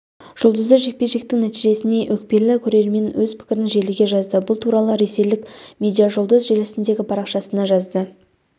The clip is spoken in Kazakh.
жұлдызды жекпе-жектің нәтижесіне өкпелі көрермен өз пікірін желіге жазды бұл туралы ресейлік медиажұлдыз желісіндегі парақшасына жазды